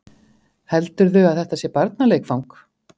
Heldurðu að þetta sé barnaleikfang?